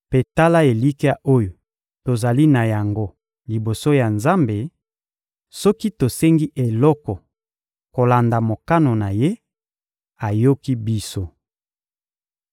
Mpe tala elikya oyo tozali na yango liboso ya Nzambe: soki tosengi eloko kolanda mokano na Ye, ayoki biso.